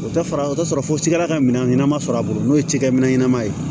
O tɛ fara o t'a sɔrɔ fɔ cikɛla ka minɛn ɲɛnama sɔrɔ a bolo n'o ye cikɛ minɛn ɲɛnama ye